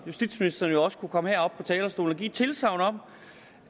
justitsministeren jo også kunne komme herop på talerstolen og givet et tilsagn om